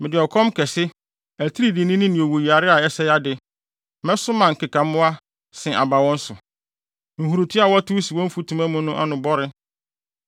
Mede ɔkɔm kɛse, atiridiinini ne owuyare a ɛsɛe ade; mɛsoma nkekammoa se aba wɔn so; nhurutoa a wɔtow si wɔ mfutuma mu no ano bɔre.